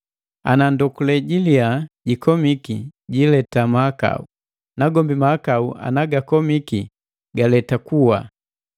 Ana ndokule jiliya jikomiki jileta mahakau, nagombi mahakau anagakomiki galeta kuwa.